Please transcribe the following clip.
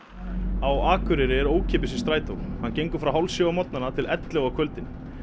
á Akureyri er ókeypis í strætó hann gengur frá hálf sjö á morgnana til ellefu á kvöldin